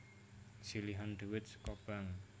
Silihan duit seko Bank